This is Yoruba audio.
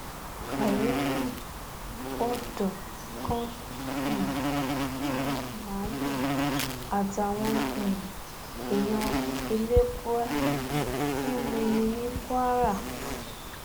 kàyééfì odò kan um náà ni màálùú àtàwọn um èèyàn ti ń mumi ní kwara